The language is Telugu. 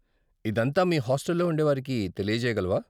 ఇదంతా మీ హాస్టల్లో ఉండేవారికి తెలియజేయగలవా?